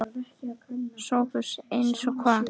SOPHUS: Eins og hvað?